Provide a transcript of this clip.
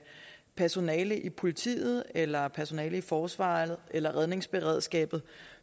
personale i politiet eller personale i forsvaret eller redningsberedskabet